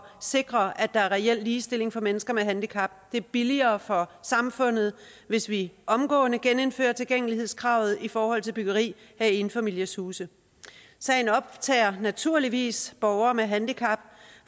sikre at der er reel ligestilling for mennesker med handicap det er billigere for samfundet hvis vi omgående genindfører tilgængelighedskravet i forhold til byggeri af enfamilieshuse sagen optager naturligvis borgere med handicap